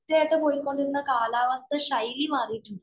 കൃത്യമായിട്ട്‌ പൊയ്ക്കൊണ്ടിരുന്ന കാലാവസ്ഥ ശൈലി മാറിയിട്ടുണ്ട്.